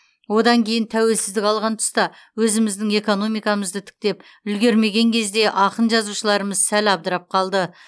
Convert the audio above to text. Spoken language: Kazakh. одан кейін тәуелсіздік алған тұста өзіміздің экономикамызды тіктеп үлгермеген кезде ақын жазушыларымыз сәл абдырап қалды